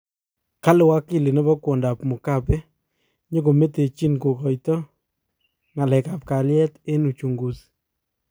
Kale wakili nebo kwondoap mugabe nyigomitei kokaito ngalkap kaliet eng uchunguzi